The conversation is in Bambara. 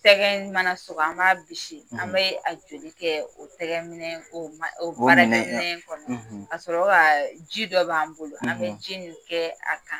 Sɛgɛ mana sɔgɔ an b'a bisi an bɛ a joli kɛ o tɛgɛ minɛ o mana, o minɛ, o mana minɛ kɔnɔ ka sɔrɔ ka ji dɔ b'an bolo an bɛ ji nin kɛ a kan.